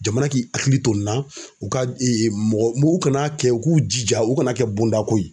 Jamana k'i hakili to ni na u ka mɔgɔ u kana kɛ u k'u jija u kana kɛ bonda ko ye.